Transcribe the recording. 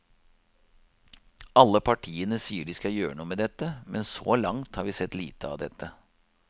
Alle partiene sier de skal gjøre noe med dette, men så langt har vi sett lite av dette.